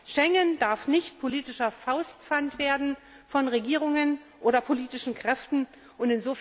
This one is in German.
Schengen darf nicht politisches Faustpfand von Regierungen oder politischen Kräften werden!